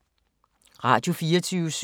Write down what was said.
Radio24syv